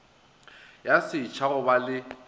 ya setšha go ba le